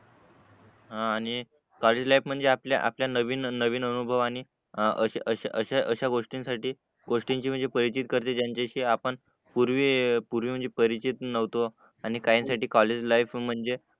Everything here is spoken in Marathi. आणि कॉलेज लाईफ म्हणजे आपल्या आपल्या नवीन नवीन अनुभवानी असे अशा अशा अशा गोष्टीसाठी गोष्टींच्या म्हणजे परिचित करते त्यांच्याशी आपण पूर्वी पूर्वी म्हणजे परिचित नव्हतो आणि काहींसाठी कॉलेज लाईफ म्हणजे